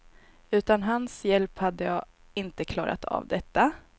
Utan hans hjälp hade jag inte klarat av detta.